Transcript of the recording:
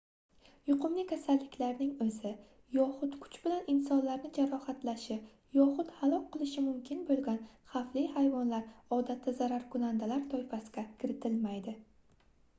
yuqumli kasalliklarning oʻzi yoxud kuch bilan insonlarni jarohatlashi yoxud halok qilishi mumkin boʻlgan xavfli hayvonlar odatda zararkunandalar toifasiga kiritilmaydi